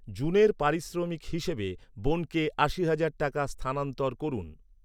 জুনের পারিশ্রমিক হিসেবে বোনকে আশি হাজার টাকা স্থানান্তর করুন।